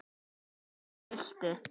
Texti fylgdi.